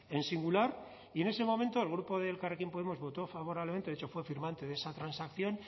en singular y en ese momento el grupo de elkarrekin podemos votó favorablemente de hecho fue firmante de esa transacción